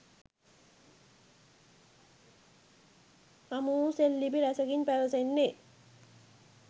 හමුවූ සෙල්ලිපි රැසකින් පැවැසෙන්නේ